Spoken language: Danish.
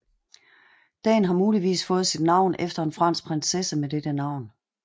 Dagen har muligvis fået sit navn efter en fransk prinsesse med dette navn